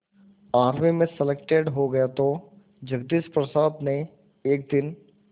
army में selected हो गया तो जगदीश प्रसाद ने एक दिन